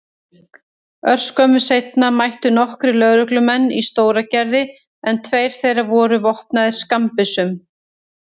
Örskömmu seinna mættu nokkrir lögreglumenn í Stóragerði en tveir þeirra voru vopnaðir skammbyssum.